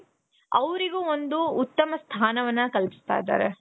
ಅವ್ರಿಗು ಒಂದು ಉತ್ತಮವಾದ ಸ್ಥಾನ ಕಲ್ಪಿಸ್ತ ಇದಾರೆ.